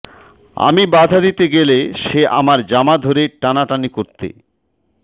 আমি বাধা দিতে গেলে সে আমার জামা ধরে টানাটানি করতে